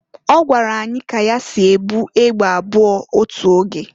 Ọgwara anyị ka ya si e bu egbe abụọ otu oge.